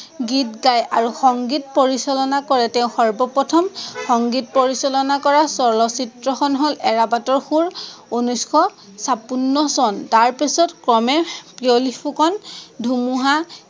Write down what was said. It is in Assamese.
গীত গাই আৰু সংগীত পৰিচলনা কৰে। তেঁও সৰ্বপ্ৰথম সংগীত পৰিচলনা কৰা চলচ্চিত্ৰখন হল এৰাবাটৰ সুৰ, উনৈচশ চাপন্ন চন, তাৰপিছত ক্ৰমে পিয়লি ফুকন, ধুমুঁহা